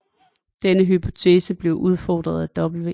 Denne hypotese blev udfordret af W